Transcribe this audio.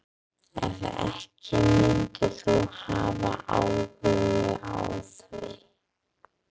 Ef ekki myndir þú hafa áhuga á því?